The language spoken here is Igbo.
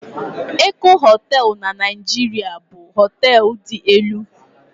Eko Hóteélụ̀ na Naịjirịa bụ hóteélụ̀ dị elu